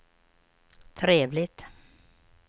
trevligt